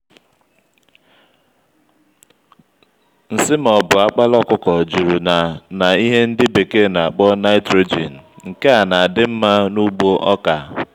nsị ma ọbụ akpala ọkụkọ juru na na ihe ndị bekee n'akpọ nìtrojin nke a n'adị mmá n'ugbo ọkà